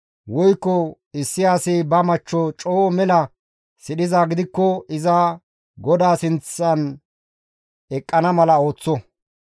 woykko issi asi ba machcho coo mela sidhizaa gidikko iza GODAA sinththan eqqana mala ooththo.